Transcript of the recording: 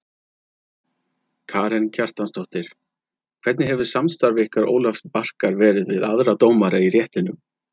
Karen Kjartansdóttir: Hvernig hefur samstarf ykkar Ólafs Barkar verið við aðra dómara í réttinum?